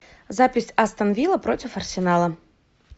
запись астон вилла против арсенала